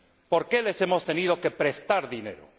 ¿Por qué les hemos tenido que prestar dinero?